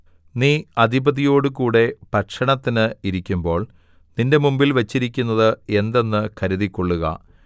നീ അധിപതിയോടുകൂടെ ഭക്ഷണത്തിന് ഇരിക്കുമ്പോൾ നിന്റെ മുമ്പിൽ വെച്ചിരിക്കുന്നത് എന്തെന്ന് കരുതിക്കൊള്ളുക